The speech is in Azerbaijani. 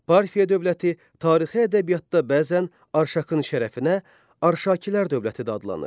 Parfiya dövləti tarixi ədəbiyyatda bəzən Arşakın şərəfinə Arşakilər dövləti də adlanır.